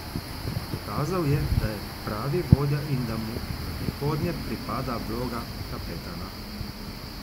Dokazal je, da je pravi vodja in da mu v prihodnje pripada vloga kapetana.